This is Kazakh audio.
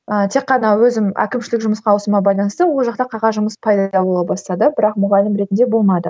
ы тек қана өзім әкімшілік жұмысқа ауысуыма байланысты ол жақта қағаз жұмыс пайда бола бастады бірақ мұғалім ретінде болмады